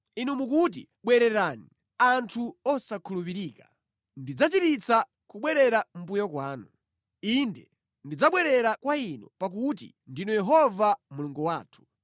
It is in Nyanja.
Inu mukuti, “Bwererani, anthu osakhulupirika; ndidzachiritsa kubwerera mʼmbuyo kwanu.” “Inde, tidzabwerera kwa Inu pakuti ndinu Yehova Mulungu wathu.